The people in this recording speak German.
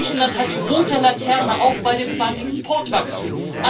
Griechenland hat die rote Laterne, auch beim Exportwachstum.